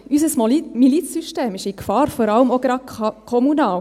Unser Milizsystem ist in Gefahr, vor allem gerade auch kommunal.